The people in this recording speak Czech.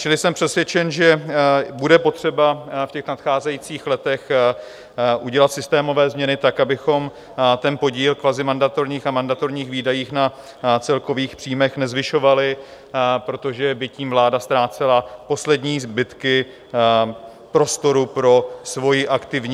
Čili jsem přesvědčen, že bude potřeba v těch nadcházejících letech udělat systémové změny tak, abychom ten podíl kvazimandatorních a mandatorních výdajů na celkových příjmech nezvyšovali, protože by tím vláda ztrácela poslední zbytky prostoru pro svoji aktivní...